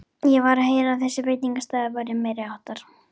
Ég var að heyra að þessi veitingastaður væri alveg meiriháttar!